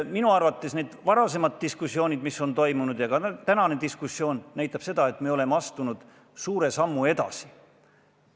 Minu arvates varasemad diskussioonid ja ka tänane diskussioon on näidanud seda, et me oleme astunud suure sammu edasi.